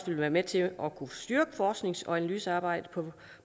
vil være med til at kunne styrke forsknings og analysearbejdet